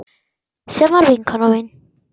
Sem var vinkona mín.